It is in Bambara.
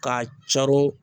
K'a caron